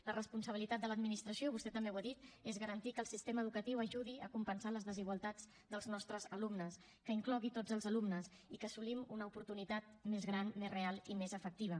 la responsabilitat de l’administració vostè també ho ha dit és garantir que el sistema educatiu ajudi a compensar les desigualtats dels nostres alumnes que inclogui tots els alumnes i que assolim una oportunitat més gran més real i més efectiva